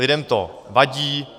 Lidem to vadí.